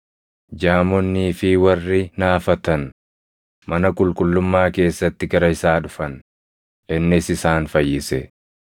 Jaamonnii fi warri naafatan mana qulqullummaa keessatti gara isaa dhufan; innis isaan fayyise.